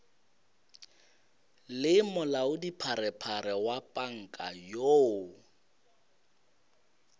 le molaodipharephare wa panka yoo